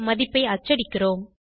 மதிப்பை அச்சடிக்கிறோம்